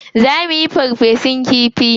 Za muyi farfesun kifi.